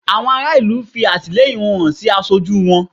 Àwọn ará ìlú fi àtìlẹyìn wọn hàn sí aṣojú wọn